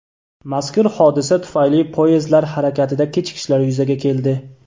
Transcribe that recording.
Mazkur hodisa tufayli poyezdlar harakatida kechikishlar yuzaga keldi.